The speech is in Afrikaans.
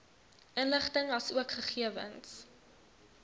inligting asook gegewens